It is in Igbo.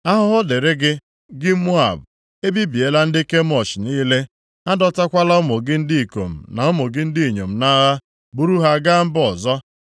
Ahụhụ dịrị gị, gị Moab! Ebibiela ndị Kemosh niile. A dọtakwala ụmụ gị ndị ikom na ụmụ gị ndị inyom nʼagha, buru ha gaa mba ọzọ.